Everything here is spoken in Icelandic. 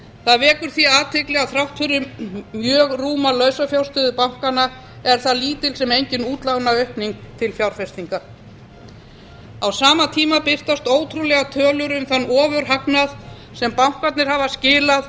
það vekur því athygli að þrátt fyrir mjög rúma lausafjárstöðu bankanna er þar lítil sem engin útlánaaukning til fjárfestinga á sama tíma birtast ótrúlegar tölur um þann ofurhagnað sem bankarnir hafa skilað